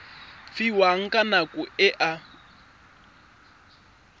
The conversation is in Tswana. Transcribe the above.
fiwang ka nako e a